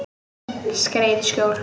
Skreið í skjól.